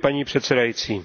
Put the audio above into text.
Paní předsedající,